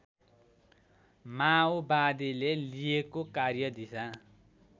माओवादीले लिएको कार्यदिशा